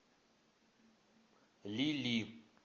лили